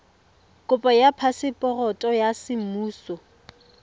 kopo ya phaseporoto ya semmuso